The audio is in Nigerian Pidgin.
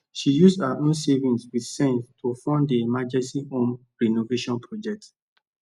she use her own savings with sense to fund the emergency home renovation project